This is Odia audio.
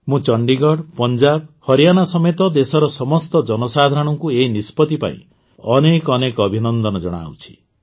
ମୁଁ ଚଣ୍ଡିଗଡ଼ ପଞ୍ଜାବ ହରିଆନା ସମେତ ଦେଶର ସମସ୍ତ ଜନସାଧାରଣଙ୍କୁ ଏହି ନିଷ୍ପତି ପାଇଁ ଅନେକ ଅନେକ ଅଭିନନ୍ଦନ ଜଣାଉଛି